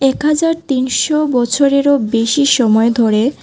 এক হাজার তিনশো বছরেরও বেশি সময় ধরে।